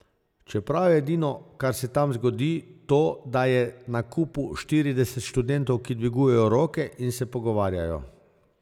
Čeprav je edino, kar se tam zgodi, to, da je na kupu štirideset študentov, ki dvigujejo roke in se pogovarjajo.